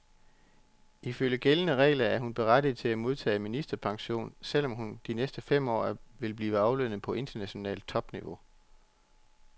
Ifølge gældende regler er hun berettiget til at modtage ministerpension, selv om hun de næste fem år vil blive aflønnet på internationalt topniveau.